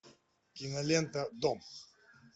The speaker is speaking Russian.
кинолента дом